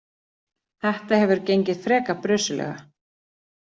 Þetta hefur gengið frekar brösuglega.